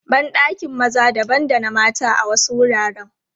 Ban ɗakin maza dabam da na mata a wasu wuraren.